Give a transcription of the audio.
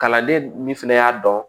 Kalanden min fɛnɛ y'a dɔn